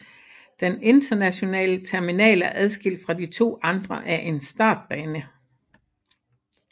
Den internationale terminal er adskilt fra de to andre af en startbane